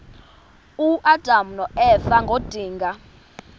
uadam noeva ngedinga